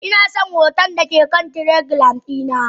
Inason hoton dake kan telegram dina.